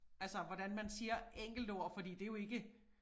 Altså hvordan man siger enkeltord fordi det jo ikke